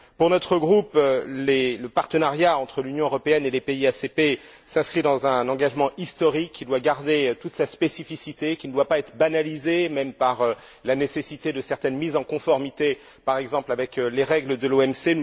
Pour notre groupe, le partenariat entre l'Union européenne et les pays ACP s'inscrit dans un engagement historique, qui doit garder toute sa spécificité, qui ne doit pas être banalisé, même par la nécessité de certaines mise en conformité, par exemple avec les règles de l'OMC.